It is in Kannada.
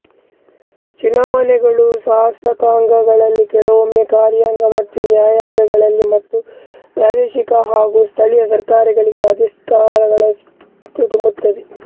ಚುನಾವಣೆಗಳುಶಾಸಕಾಂಗಳಲ್ಲಿಕೆಲವೊಮ್ಮೆ ಕಾರ್ಯಾಂಗ ಮತ್ತು ನ್ಯಾಯಾಂಗಗಳಲ್ಲಿ ಮತ್ತು ಪ್ರಾದೇಶಿಕ ಹಾಗೂ ಸ್ಥಳೀಯ ಸರ್ಕಾರಗಳಿಗೆ ಅಧಿಕಾರಸ್ಥರನ್ನು ತುಂಬುತ್ತದೆ